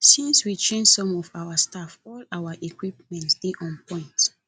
since we change some of our staff all our equipment dey on point